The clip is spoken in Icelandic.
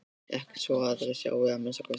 Ekki svo að aðrir sjái að minnsta kosti.